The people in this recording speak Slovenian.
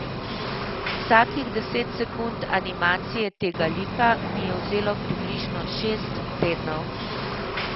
Vsakih deset sekund animacije tega lika mi je vzelo približno šest tednov.